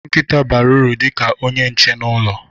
Nkita bara uru dị ka onye nche n'ụlọ.